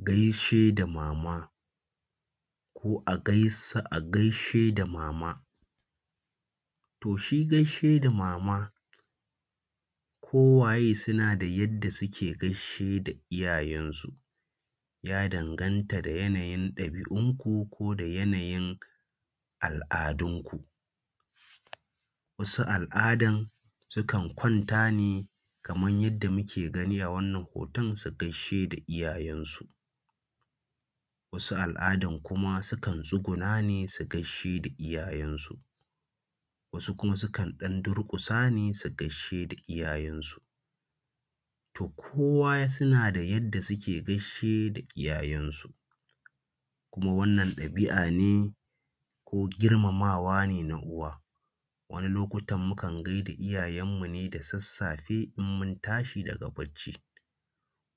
Gaishe da mama, ko a gaisa a gaishe da mama. To shi gaishe da mama, kowaye suna da yadda suke gaishe da iyayensu, ya danganta da yanayin ɗabi’unku ko da yanayin al’adunku, wasu al’adan sukan kwanta ne kaman yadda muke gani a wannan hoto su gaishe da iyayensu, wasu al’adan kuma sukan tsuguna ne su gaishe iyayensu, wasu kuma sukan ɗan durƙusa ne su gaishe da iyayensu. To kowa suna da yadda suke gaishe da iyayensu kuma wannan ɗabi’a ne ko girmamawa ne na uwa, wani lokutan mukan gaida iyayenmu ne da sassafe in mun tashi daga barci,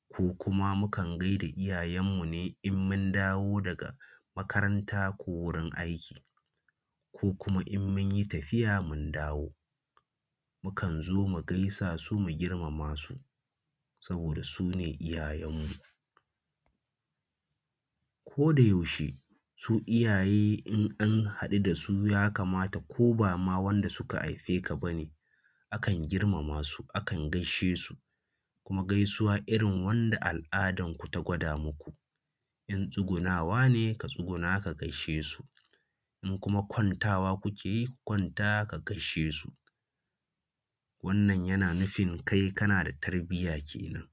ko kuma mukan gaida iyayenmu ne in mun dawo daga makaranta ko wurin aiki, ko kuma in mun yi tafiya mun dawo, mukan zo mu gaisa su mu girmama su saboda su ne iyayenmu. Ko da yaushe su iyaye in an haɗu da su ya kamata ko ba ma wanda suka haife ka bane akan girmama su akan gaishe su, kuma gaisuwa irin wanda al’adan ku ta gwada maku, in tsugunawa ne ka tsuguna ka gaishe su, in kuma kwanta wa kuke yi ka kwanta a gaishe su. Wannan yana nufin kai kana da tarbiyya kenan.